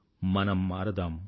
మనం మారదాం